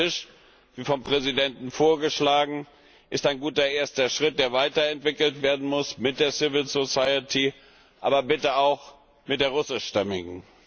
Ein Runder Tisch, wie vom Präsidenten vorgeschlagen, ist ein guter erster Schritt, der weiterentwickelt werden muss mit der Zivilgesellschaft, aber bitte auch mit der russischstämmigen.